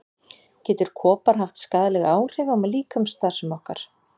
Getur kopar haft skaðleg áhrif á líkamsstarfsemi okkar?